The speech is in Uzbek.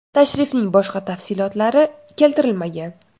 Tashrifning boshqa tafsilotlari keltirilmagan.